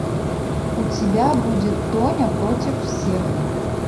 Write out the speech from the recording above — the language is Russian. у тебя будет тоня против всех